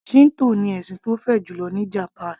Shinto ní ẹ̀sìn tó fẹjú jùlọ ní japan